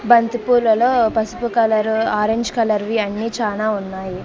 బంతిపూలలో పసుపు colour orange colour వి అన్నీ చానా ఉన్నాయి.